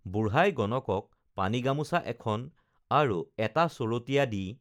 বুঢ়াই গণকক পানী গামোছা এখন আৰু এটা চৰতীয়া দি